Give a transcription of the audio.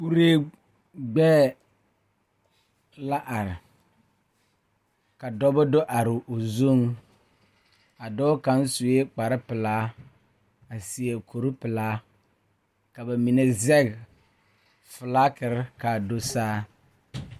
Kuree gbɛɛ la are ka dɔba do are o zuŋ a dɔɔ kaŋ sue kparepelaa a seɛ kuripelaa ka ba mine zɛge filagiri k,a do saa.